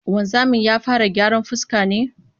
Wanzamin ya fara gyaran fuska ne?